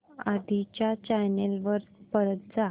आधी च्या चॅनल वर परत जा